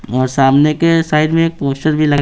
और सामने के साइड में एक पोस्टर भी लग---